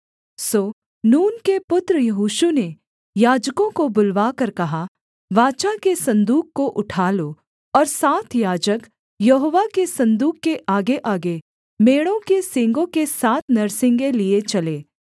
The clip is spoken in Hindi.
सो नून के पुत्र यहोशू ने याजकों को बुलवाकर कहा वाचा के सन्दूक को उठा लो और सात याजक यहोवा के सन्दूक के आगेआगे मेढ़ों के सींगों के सात नरसिंगे लिए चलें